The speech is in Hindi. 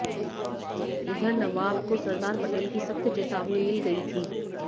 इधर नवाब को सरदार पटेल की सख्त चेतावनी मिल गई थी